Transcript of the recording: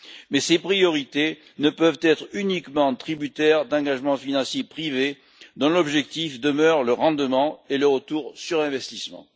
Mais ces priorités ne peuvent être uniquement tributaires d'engagements financiers privés, dont l'objectif demeure le rendement et le retour sur investissement.